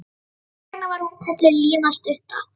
Þess vegna var hún kölluð Lína stutta.